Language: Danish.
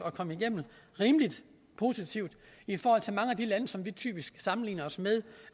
at komme igennem rimelig positivt i forhold til mange af de lande som vi typisk sammenligner os med